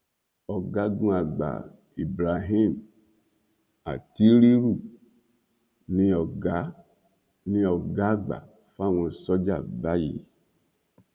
ọgágunàgbà ibrahim atttiriru ni ọgá ni ọgá àgbà fáwọn sójà báyìí